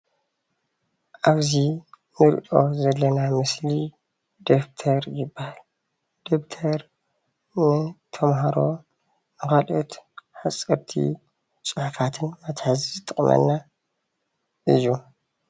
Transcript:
ኣብዚ እንሪኦ ዘለና ምስሊ ደፍተር ይባሃል፡፡ ደፍተር ንተማሃሮ ንካልኦት ሓፀርቲ ፅሑፋትን መትሐዚ ዝጠቅመና እዩ፡፡